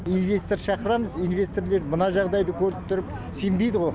инвестор шақырамыз инвесторлар мына жағдайды көріп тұрып сенбейді ғой